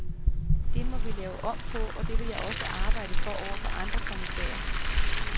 Det må vi lave om på, og det vil jeg også arbejde for over for andre kommissærer.